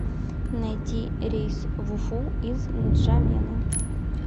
найди рейс в уфу из нджамены